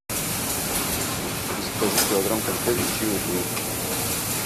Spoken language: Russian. закажи килограмм конфет чио рио